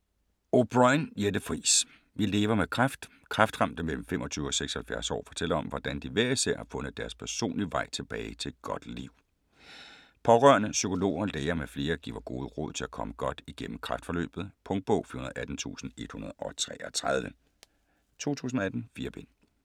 O'Brôin, Jette Friis: Vi lever med kræft Kræftramte mellem 25 og 76 år fortæller om, hvordan de hver især har fundet deres personlige vej tilbage til et godt liv. Pårørende, psykologer, læger m.fl. giver gode råd til at komme godt igennem kræftforløbet. Punktbog 418133 2018. 4 bind.